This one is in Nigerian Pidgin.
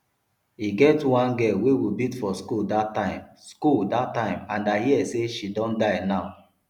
e get one girl wey we beat for school dat time school dat time and i hear say she don die now